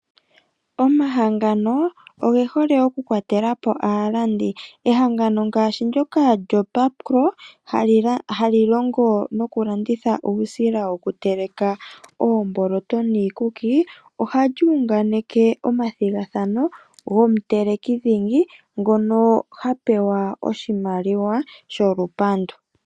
Omahangano oge hole okukwatelapo aalandi. Ehangano ngaashi ndyoka lyoBakpro hali longo nokulanditha uusila wokuteleka oomboloto niikuki, ohali unganeke omathigathano gomutelekidhingi ngono ha pewa oshimaliwa sholupandu.